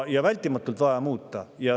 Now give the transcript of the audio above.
Vältimatult on vaja muuta.